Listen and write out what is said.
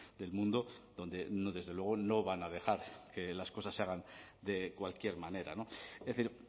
del mundo donde desde luego no van a dejar las cosas se hagan de cualquier manera es decir